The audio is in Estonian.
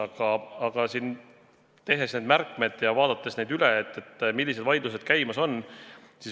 Aga ma vaatasin üle ja tegin märkmeid, millised vaidlused käimas on.